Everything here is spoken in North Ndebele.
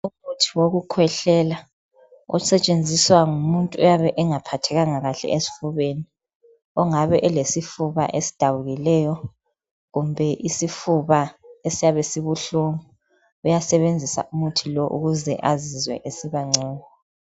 Umuthi wokukhwehlela osetshenziswa ngumuntu oyabe engaphathekanga kahle esifubeni. Ongabe elesifuba esidabukileyo kumbe isifuba esiyabe sibuhlungu uyasebenzisa umuthi lowu ukuze azizwe esibangcono.